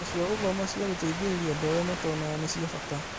Indo cia gũthoma cia gũteithĩrĩria andũ arĩa matonaga nĩ cia bata